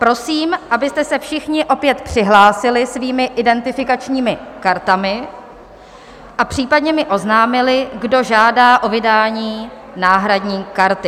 Prosím, abyste se všichni opět přihlásili svými identifikačními kartami a případně mi oznámili, kdo žádá o vydání náhradní karty.